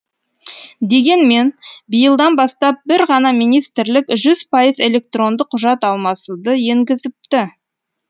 дегенмен биылдан бастап бір ғана министрлік жүз пайыз электронды құжат алмасуды енгізіпті